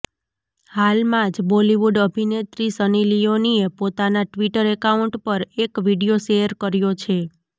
હાલમાં જ બોલીવૂડ અભિનેત્રી સની લિયોનીએ પોતાના ટ્વિટર એકાઉન્ટ પર એક વીડિયો શેયર કર્યો છે